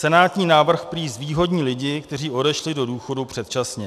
Senátní návrh prý zvýhodní lidi, kteří odešli do důchodu předčasně.